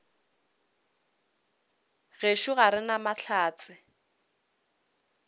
gešo ga re na mahlatse